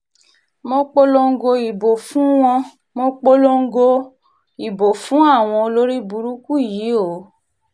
mo polongo ìbò fún wọn mo polongo polongo ìbò fún àwọn olórìbùrùkù yìí o